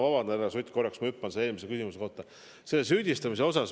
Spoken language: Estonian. Vabandust, härra Sutt, ma hüppan korraks eelmise küsimuse juurde.